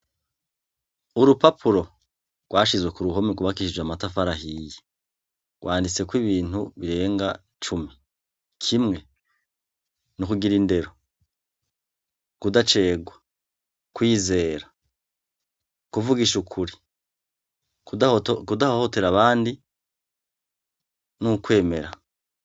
Urupapuro rwashizwe ku ruhomi kubakishije amatafarahiye rwanditseko ibintu birenga cumi kimwe ni' ukugira indero kudacegwa kwizera kuvugisha ukuri kudahohotera abandi ni ukwemera.